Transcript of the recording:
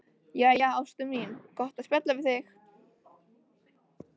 Jæja, ástin mín, gott að spjalla við þig.